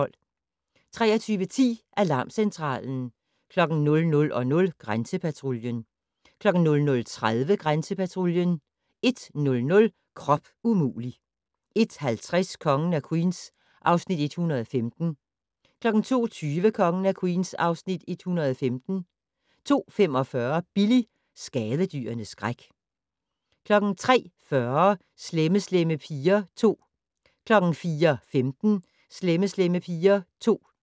23:10: Alarmcentralen 00:00: Grænsepatruljen 00:30: Grænsepatruljen 01:00: Krop umulig! 01:50: Kongen af Queens (Afs. 114) 02:20: Kongen af Queens (Afs. 115) 02:45: Billy - skadedyrenes skræk 03:40: Slemme Slemme Piger 2 04:15: Slemme Slemme Piger 2